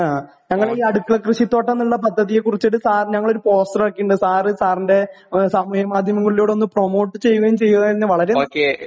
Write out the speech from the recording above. ഞങ്ങൾ ഈ അടുക്കള കൃഷിത്തോട്ടം എന്നുള്ള പദ്ധതിയെക്കുറിച്ചു ഒരു പോസ്റ്റർ ആക്കിയിട്ടുണ്ട് സാറിന് സാറിന്റെ സമൂഹ മാധ്യമങ്ങളിലൂടെ ഒന്ന് പ്രൊമോട്ട് ചെയ്യുകയും കൂടി ചെയ്താൽ വളരെ ഉപകാരം